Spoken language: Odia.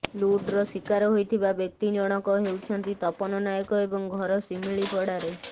ଲୁଟ୍ର ଶିକାର ହୋଇଥିବା ବ୍ୟକ୍ତି ଜଣକ ହେଉଛନ୍ତି ତପନ ନାୟକ ଏବଂ ଘର ଶିମିଳିପଡ଼ାରେ